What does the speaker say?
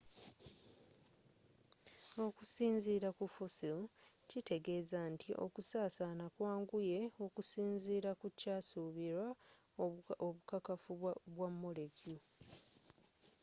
okusinziila kufossil kitegeeza nti okusaasana kwanguye okusinziira kukyasuubirwa obukakafu bwa molecular